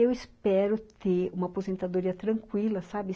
Eu espero ter uma aposentadoria tranquila, sabe?